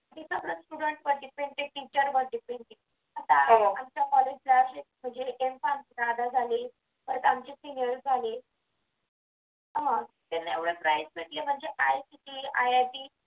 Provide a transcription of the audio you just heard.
ते सर्व student वर depend आहे teacher वर depend आहे आमच्या college ला दादा झाले परत आमचे senior झाले हा हा त्यांना एवढंच राहायचं की ictiit